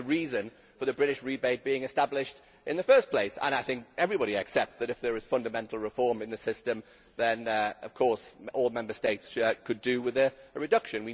That was the reason for the British rebate being established in the first place, and I think everybody accepts that if there is fundamental reform in the system then of course all Member States could do with a reduction.